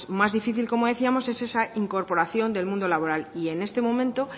más difícil como decíamos es esa incorporación del mundo laboral y en este momento